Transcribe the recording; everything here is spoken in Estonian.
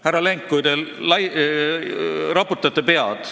Härra Lenk, te raputate pead.